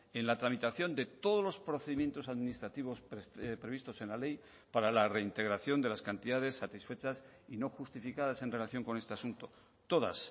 en la tramitación de todos los procedimientos administrativos previstos en la ley para la reintegración de las cantidades satisfechas y no justificadas en relación con este asunto todas